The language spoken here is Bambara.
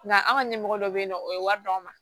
Nka an ka ɲɛmɔgɔ dɔ bɛ yen nɔ o ye wari d'anw ma